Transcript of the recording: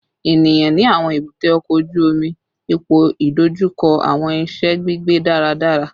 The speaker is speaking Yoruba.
Eniyan ni awọn ebute oko oju omi ipoidojuko awọn iṣẹ gbigbe daradara